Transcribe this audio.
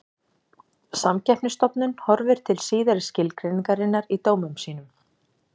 Samkeppnisstofnun horfir til síðari skilgreiningarinnar í dómum sínum.